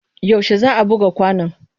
Yaushe za a buga kwanon?